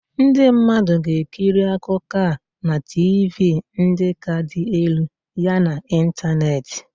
Ndị mmadụ ga-ekiri akụkọ a na TiVii ndị ka dị elu yana ịntanetị.